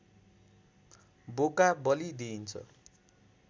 बोका बलि दिइन्छ